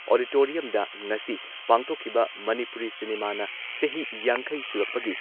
ꯑꯣꯗꯤꯇꯣꯔꯤꯌꯝꯗ ꯉꯁꯤ ꯄꯥꯡꯊꯣꯛꯈꯤꯕ ꯃꯅꯤꯄꯨꯔꯤ ꯁꯤꯅꯦꯃꯥꯅ ꯆꯍꯤ ꯌꯥꯡꯈꯩ ꯁꯨꯔꯛꯄꯒꯤ